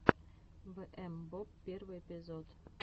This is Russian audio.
вээмбоб первый эпизод